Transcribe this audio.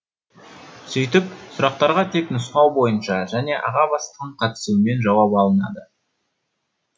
сөйтіп сұрақтарға тек нұсқау бойынша және аға бастықтың қатысуымен жауап алынады